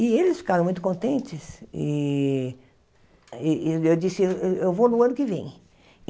E eles ficaram muito contentes e eh eu disse, eh eu vou no ano que vem.